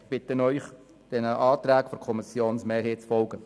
Ich bitte Sie, den Anträgen der Kommissionsmehrheit zu folgen.